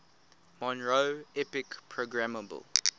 monroe epic programmable